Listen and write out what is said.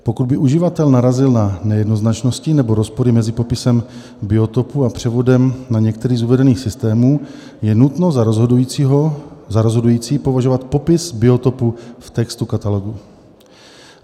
Pokud by uživatel narazil na nejednoznačnosti nebo rozpory mezi popisem biotopu a převodem na některý z uvedených systémů, je nutno za rozhodující považovat popis biotopu v textu katalogu.